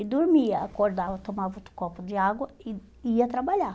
E dormia, acordava, tomava outro copo de água e ia trabalhar.